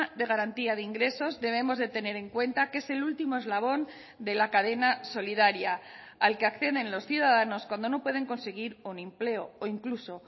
de garantía de ingresos debemos de tener en cuenta que es el último eslabón de la cadena solidaria al que acceden los ciudadanos cuando no pueden conseguir un empleo o incluso